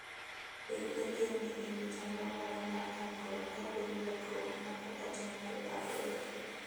Bed gadier ni in gi chenro moro mar konyruok kapo ni lokruok moko otimore apoya.